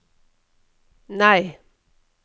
nei